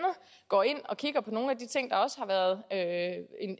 går ind og kigger på nogle af de ting der også har været